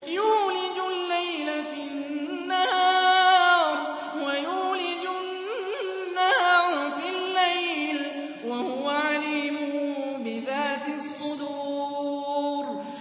يُولِجُ اللَّيْلَ فِي النَّهَارِ وَيُولِجُ النَّهَارَ فِي اللَّيْلِ ۚ وَهُوَ عَلِيمٌ بِذَاتِ الصُّدُورِ